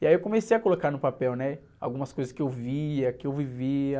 E aí eu comecei a colocar no papel, né? Algumas coisas que eu via, que eu vivia.